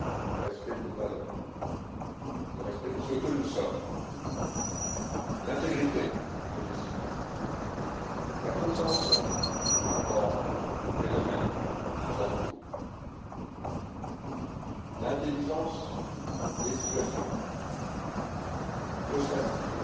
le respect de nos valeurs, le respect de ce que nous sommes, l'intégrité de nos décisions, la compréhension par rapport aux phénomènes qui nous entourent, l'intelligence des situations que se passe t il?